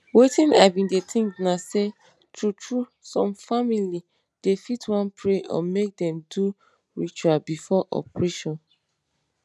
wetin i bin dey think na say true true some family dem fit wan pray or make dem do ritual before operation.